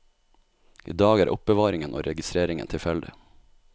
I dag er er oppbevaringen og registreringen tilfeldig.